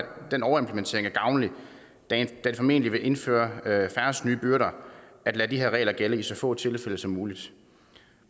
den overimplementering er gavnlig da det formentlig vil indføre færrest nye byrder at lade de her regler gælde i så få tilfælde som muligt